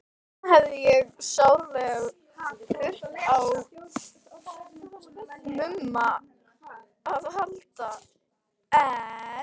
Þarna hefði ég sárlega þurft á Mumma að halda, en